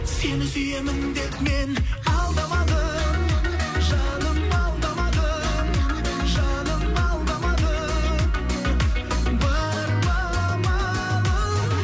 сені сүйемін деп мен алдамадым жаным алдамадым жаным алдамадым бар ма амалым